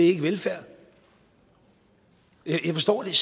ikke velfærd jeg forstår det